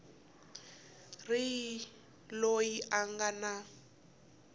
ri loyi a nga na